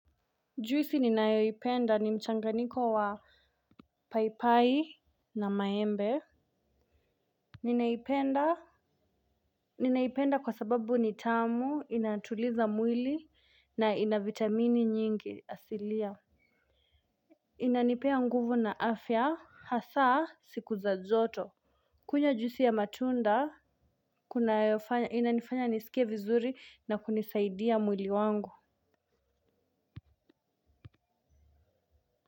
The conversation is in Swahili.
Juisi ninayoipenda ni mchanganyiko wa paipai na maembe. Ninaipenda kwa sababu ni tamu inatuliza mwili na ina vitamini nyingi asilia. Inanipea nguvu na afya hasa siku za joto. Kunywa juisi ya matunda inanifanya nisikie vizuri na kunisaidia mwili wangu.